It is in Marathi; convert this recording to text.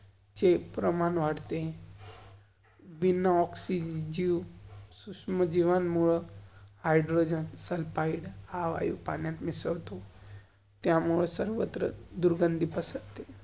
चे प्रमाण वाढते. बिना ऑक्सीजन सुश्म जीवनमुळं, हाइड्रोजन सल्फाइड हां वायु पाण्यात मिसल्तो, त्यामुळं सर्वत्र दुर्गंधी पसरते.